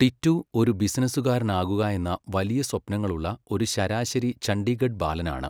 ടിറ്റൂ ഒരു ബിസിനസുകാരനാകുകായെന്ന വലിയ സ്വപ്നങ്ങളുള്ള ഒരു ശരാശരി ചണ്ഡീഗഢ് ബാലനാണ്.